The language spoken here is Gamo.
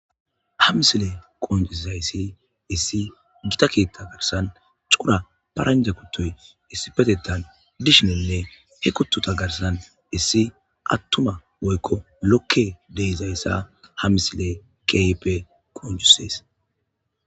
Hamsile qonjusizayssi issi gita keetta garsan cura paranja kuttoy issi petettan dishininne he kuttuta garsan issi attuma woykko lokke deizayssa hamisile kipe qonjusees.